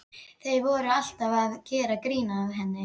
Þeir voru alltaf að gera grín að henni.